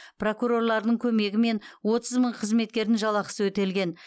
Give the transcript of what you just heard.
прокурорлардың көмегімен отыз мың қызметкердің жалақысы өтелген